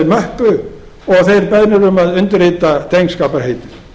möppu og þeir beðnir um að undirrita drengskaparheit